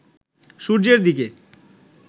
সূর্যের দিকে